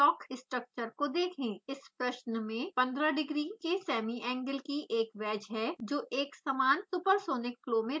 the problem consists of a wedge with a semiangle of 15 degrees kept in a uniform supersonic flow इस प्रश्न में 15 degree के semiangle की एक wedge है जो एक समान supersonic flow में रखी है